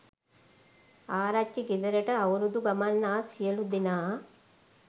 ආරච්චි ගෙදරට අවුරුදු ගමන් ආ සියලු දෙනා